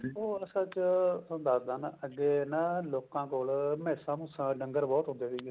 ਉਹ ਅਸਲ ਚ ਥੋਨੂੰ ਦੱਸਦਾਂ ਮੈਂ ਅੱਗੇ ਨਾ ਲੋਕਾਂ ਕੋਲ ਮੈਸਾਂ ਮੂਸਾ ਡੰਗਰ ਬਹੁਤ ਹੁੰਦੇ ਤੇ